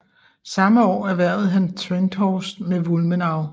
Samme år erhvervede han Trenthorst med Wulmenau